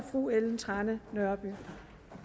fru ellen trane nørby